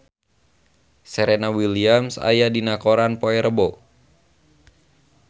Serena Williams aya dina koran poe Rebo